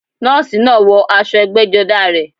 Nọ́ọ̀sì náà wọ aṣọ ẹgbẹ́jọdá rẹ̀